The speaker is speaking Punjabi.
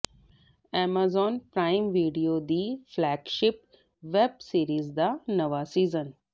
ਐਮਾਜ਼ਾਨ ਪ੍ਰਾਈਮ ਵੀਡੀਓ ਦੀ ਫਲੈਗਸ਼ਿਪ ਵੈੱਬ ਸੀਰੀਜ਼ ਦਾ ਨਵਾਂ ਸੀਜ਼ਨ